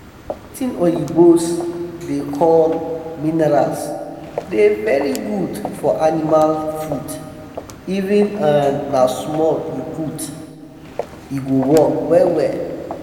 watin oyibos da call minerals da very good for animal food even if um na small u put e e go work well well